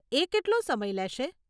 એ કેટલો સમય લેશે?